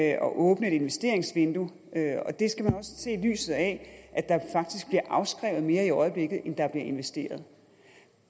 at åbne et investeringsvindue og det skal man også se i lyset af at der faktisk bliver afskrevet mere i øjeblikket end der bliver investeret